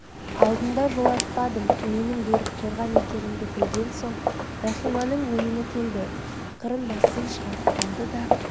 алтынды жолатпадым менің берік қорған екенімді білген соң рахиманың ойыны келді ақырын басын шығарып алады да